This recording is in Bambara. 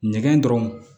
Ɲɛgɛn dɔrɔn